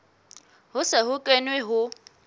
ho se ho kenwe ho